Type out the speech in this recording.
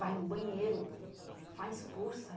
Vai no banheiro, faz força.